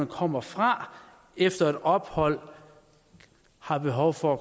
kommer fra efter et ophold har behov for